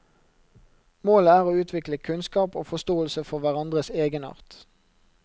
Målet er å utvikle kunnskap og forståelse for hverandres egenart.